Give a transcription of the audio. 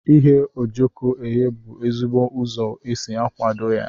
Ighe ojoko eghe bu ezigbo ụzọ eji akwado ya.